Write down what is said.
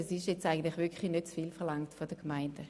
Das ist wirklich nicht zu viel verlangt von den Gemeinden.